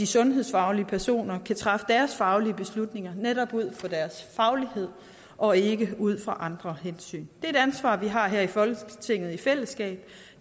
sundhedsfagligt personale dermed kan træffe deres faglige beslutninger netop ud fra deres faglighed og ikke ud fra andre hensyn det er et ansvar vi har her i folketinget i fællesskab